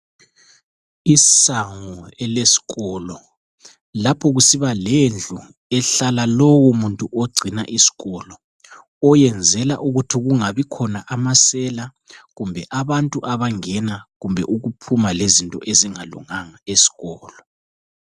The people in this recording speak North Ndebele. Isango elesikolo lapho kusiba lendlu ehlala lowo muntu ogcina isikolo oyenzela ukuthi kungabi khona amasela kumbe abantu abangena kumbe bephuma lezinto ezingalunganga esikolo.